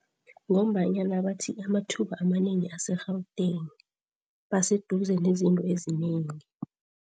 Ngombanyana bathi amathuba amanengi ase-Gauteng, baseduze nezinto ezinengi.